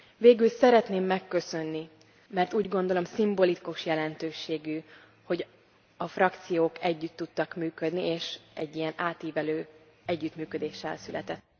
Végül szeretném megköszönni, mert úgy gondolom, szimbolikus jelentőségű, hogy a frakciók együtt tudtak működni, és egy ilyen átívelő együttműködés született.